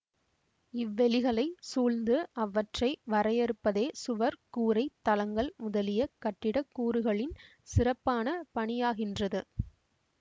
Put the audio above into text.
இவ்வெளிகளைச் சூழ்ந்து அவற்றை வரையறுப்பதே சுவர் கூரை தளங்கள் முதலிய கட்டிடக் கூறுகளின் சிறப்பான பணியாகின்றது